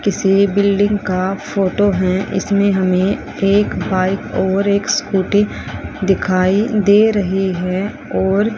किसी बिल्डिंग का फोटो है इसमें हमें एक बाइक और एक स्कूटी दिखाई दे रही है और--